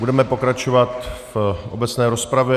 Budeme pokračovat v obecné rozpravě.